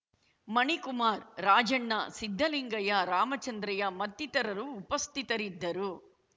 ಮಣಿಕುಮಾರ್ ರಾಜಣ್ಣ ಸಿದ್ದಲಿಂಗಯ್ಯ ರಾಮಚಂದ್ರಯ್ಯ ಮತ್ತಿತರರು ಉಪಸ್ಥಿತರಿದ್ದರು